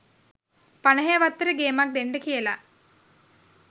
පනහේ වත්තට ගේමක් දෙන්ඩ කියලා.